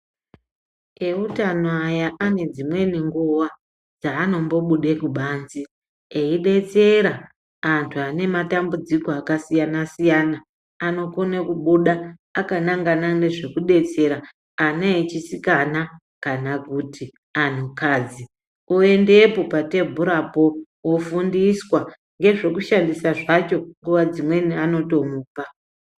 Eutano aya anedzimweni nguwa dzaanombobude kubanzi eidetsera antu ane matambudziko akasiyanasiyana anokone kubuda akanangana nezvekudetsera ana echisikana kana kuti anhu kadzi ,oendepo patebhura po ofuundiswa ngezvekushandisa zvacho nguwadzimweni anotomupa.